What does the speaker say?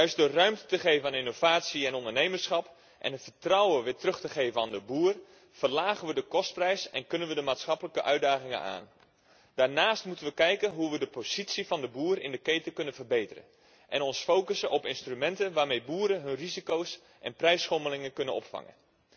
Juist door ruimte te geven aan innovatie en ondernemerschap en de boeren weer vertrouwen te geven, verlagen we de kostprijs en kunnen we de maatschappelijke uitdagingen aan. Daarnaast moeten we bekijken hoe we de positie van de boer in de keten kunnen verbeteren en ons richten op instrumenten waarmee boeren hun risico's en prijsschommelingen kunnen opvangen.